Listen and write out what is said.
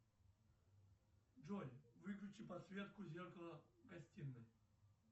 джой выключи подсветку зеркала в гостиной